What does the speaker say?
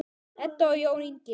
Edda og Jón Ingi.